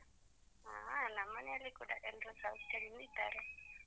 ಹಾ ನಮ್ಮ್ ಮನೆಯಲ್ಲಿ ಕೂಡ ಎಲ್ರು ಸೌಖ್ಯದಿಂದ ಇದ್ದಾರೆ.